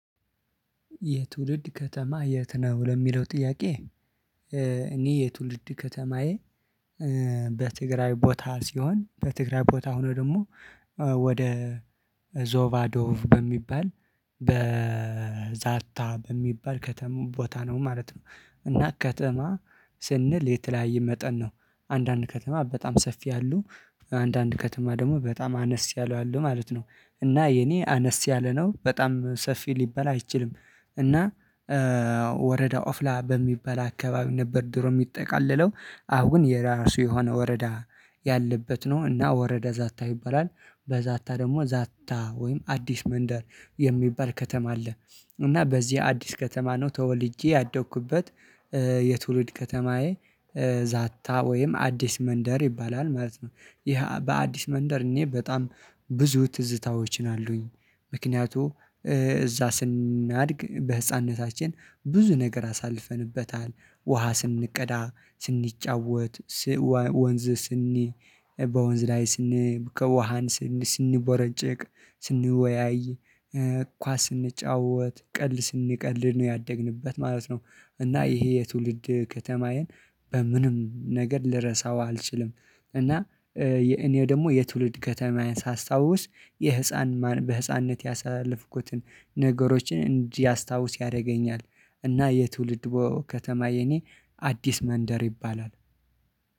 የትውልድ ከተማ የት ነው ለሚለው ጥያቄ? እኔ የትውልድ ከተማዬ። በትግራይ ቦታ ሲሆን በትግራይ ቦታ ሆኖ ደግሞ ወደ ዞቫዶቭ በሚባል በዛታ በሚባል ከተማ ቦታ ነው ማለት ነው። እና ከተማ ስንል የተለያየ መጠን ነው አንዳንድ ከተማ በጣም ሰፊ አሉ። አንዳንድ ከተማ ደግሞ በጣም አነስ ያለው አሉ ማለት ነው። እና የኔ አነስ ያለ ነው በጣም ሰፊ ሊባል አይችልም። እና ወረዳ ኦፍላ በሚባል አካባቢ ነበር ድሮ የሚጠቃለለው አሁን የራሱ የሆነ ወረዳ ያለበት ነው እና ወረዳ ዛታ ይባላል። በዛታ ደግሞ ዛታ ወይም አዲስ መንደር የሚባል ከተማ አለ። እና በዚህ አዲስ ከተማ ነው ተወልጄ ያደግኩበት። የትውልድ ከተማዬ ዛታ ወይም አዲስ መንደር ይባላል ማለት ነው። ይሄ በአዲስ መንደር እኔ በጣም ብዙ ትዝታዎችን አሉኝ። ምክንያቱም እዛ ስናድግ በህፃንነታችን ብዙ ነገር አሳልፈንበታል ውሃ ስንቀዳ ስንጫወት። ወንዝ ስንይ በወንዝ ላይ ስንይ ከውሃን ስንይ ስንቦረጨቅ ስንወያይ ኳስ ስንጫወት ቀልድ ስንቀልድ ነው ያደግንበት ማለት ነው። እና ይሄ የትውልድ ከተማዬን በምንም ነገር ልረሳው አልችልም። እና እኔ ደግሞ የትውልድ ከተማዬን ሳስታውስ የህፃን በህፃንነት ያሳለፍኩትን ነገሮችን እንዲያስታውስ ያደርገኛል። እና የትውልድ ከተማ የኔ አዲስ መንደር ይባላል